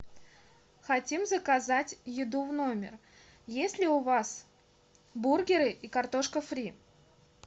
хотим заказать еду в номер есть ли у вас бургеры и картошка фри